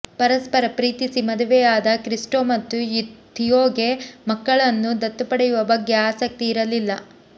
ಪರಸ್ಪರ ಪ್ರೀತಿಸಿ ಮದುವೆಯಾದ ಕ್ರಿಸ್ಟೋ ಮತ್ತು ಥಿಯೋಗೆ ಮಕ್ಕಳನ್ನು ದತ್ತು ಪಡೆಯುವ ಬಗ್ಗೆ ಆಸಕ್ತಿ ಇರಲಿಲ್ಲ